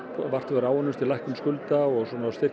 áunnist við lækkun skulda og